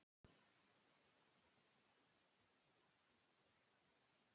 Af hverju geturðu ekki sagt mér eins og er?